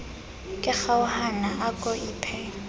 ke kgaohana a ko iphe